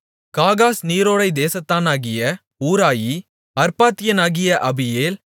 காகாஸ் நீரோடைத் தேசத்தானாகிய ஊராயி அர்பாத்தியனாகிய அபியேல்